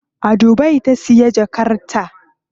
A Dubai ta siya jakar ta.